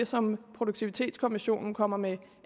som produktivitetskommissionen kommer med